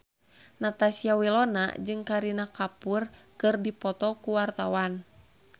Natasha Wilona jeung Kareena Kapoor keur dipoto ku wartawan